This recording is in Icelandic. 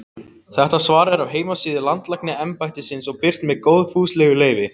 Þetta svar er af heimasíðu Landlæknisembættisins og birt með góðfúslegu leyfi.